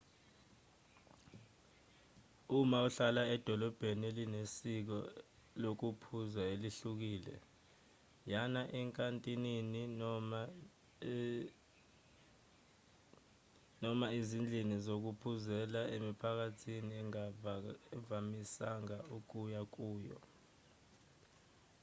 uma uhlala edolobheni elinesiko lokuphuza elihlukile yana ezinkantinini noma izindlini zokuphuzela emiphakathini ongavamisanga ukuya kuyo